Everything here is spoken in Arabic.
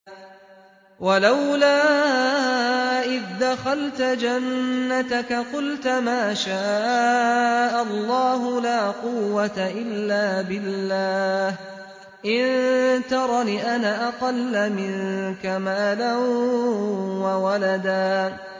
وَلَوْلَا إِذْ دَخَلْتَ جَنَّتَكَ قُلْتَ مَا شَاءَ اللَّهُ لَا قُوَّةَ إِلَّا بِاللَّهِ ۚ إِن تَرَنِ أَنَا أَقَلَّ مِنكَ مَالًا وَوَلَدًا